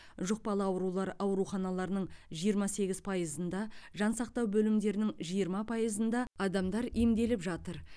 жұқпалы аурулар ауруханаларының жиырма сегіз пайызында жансақтау бөлімдерінің жиырма пайызында адамдар емделіп жатыр